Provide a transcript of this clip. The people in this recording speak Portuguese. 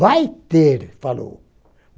Vai ter, falou.